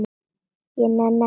Ég nenni ekki að ljúga.